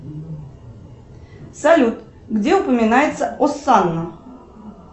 салют где упоминается осанна